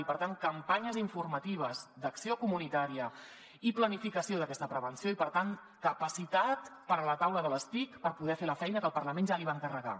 i per tant campanyes informatives d’acció comunitària i planificació d’aquesta prevenció i per tant capacitat per a la taula de les tic per poder fer la feina que el parlament ja li va encarregar